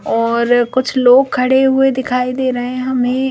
और कुछ लोग खड़े हुए दिखाई दे रहे हैं।